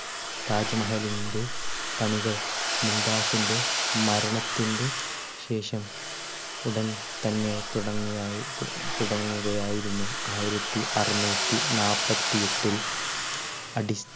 താജ്മഹലിന്റെ പണികൾ മുംതാസിന്റെ മരണത്തിന്റ ശേഷം ഉടൻ തന്നെ തുടങ്ങിയായി തു~തുടങ്ങുകയായിരുന്നു. ആയിരത്തി അറുനൂറ്റി നാൽപ്പത്തി എട്ടിൽ അടിസ്ഥാ